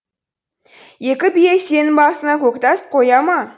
екі бие сенің басыңа көктас қоя ма